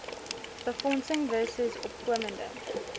befondsing versus opkomende